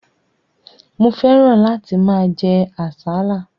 Mo fẹ́ràn láti máa jẹ àsálà.